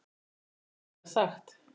ÉG HEFÐI GETAÐ SAGT